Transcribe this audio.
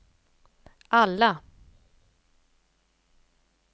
alla